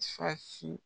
Fasi